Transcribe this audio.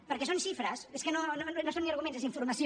perquè són xifres és que no no són ni arguments és informació